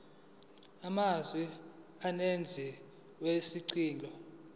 amazwe umenzi wesicelo